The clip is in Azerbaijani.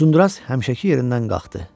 Uzunduraz həmişəki yerindən qalxdı.